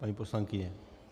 Paní poslankyně?